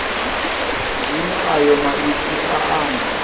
zwine ayo maipfi a amba